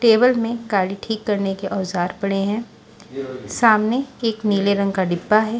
Table में गाड़ी ठीक करने के औजार पड़े हैं सामने एक नीले रंग का डिब्बा है।